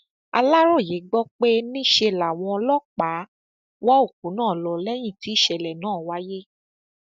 aláròye gbọ pé níṣe làwọn ọlọpàá wọ òkú náà lọ lẹyìn tí ìṣẹlẹ náà wáyé